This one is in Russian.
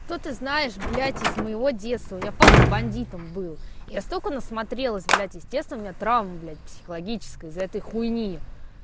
то ты знаешь блять из моего детства у меня папа бандитом был я столько насмотрелась блять естественно у меня травма блять психологическая из-за этой хуйни